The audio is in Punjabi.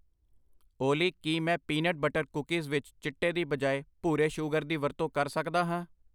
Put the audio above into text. ਓਲੀ ਕੀ ਮੈਂ ਪੀਨਟ ਬਟਰ ਕੂਕੀਜ਼ ਵਿੱਚ ਚਿੱਟੇ ਦੀ ਬਜਾਏ ਭੂਰੇ ਸ਼ੂਗਰ ਦੀ ਵਰਤੋਂ ਕਰ ਸਕਦਾ ਹਾਂ?